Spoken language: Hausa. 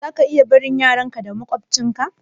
Zaka iya barin yaran ka da maƙwabtcin ka